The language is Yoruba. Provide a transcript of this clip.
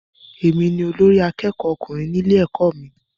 Èmi ni olórí àkẹ́kọ̀ọ ọkùnrin ní ilé ẹ̀kọ́ mí.